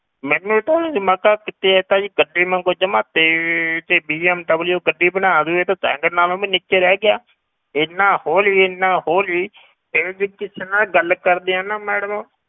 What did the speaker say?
ਮੈਨੂੰ ਤਾਂ ਕਿ ਇਹ ਤਾਂ ਜੀ ਗੱਡੀ ਵਾਂਗੂ ਜਮਾ ਤੇਜ਼ ਤੇ BMW ਗੱਡੀ ਬਣਾ ਦਊ ਇਹ ਤਾਂ ਸਾਇਕਲ ਨਾਲੋਂ ਵੀ ਨੀਚੇ ਰਹਿ ਗਿਆ ਇੰਨਾ ਹੌਲੀ ਇੰਨਾ ਹੌਲੀ ਇਹਦੇ ਤੇ ਕਿਸੇ ਨਾਲ ਗੱਲ ਕਰਦੇ ਹਾਂ ਨਾ madam